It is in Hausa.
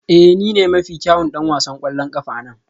Ee ni ne mafi kyawun ɗan wasan ƙwallon ƙafa a nan